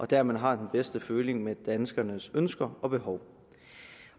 der man har den bedste føling med danskernes ønsker og behov